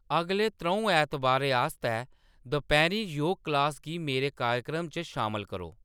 अगले त्रौं ऐतबारै आस्तै दपैह्‌रीं योग कलास गी मेरे कार्यक्रम च शामल करो